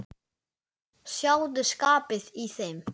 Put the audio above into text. Sjáðu skapið í þeim.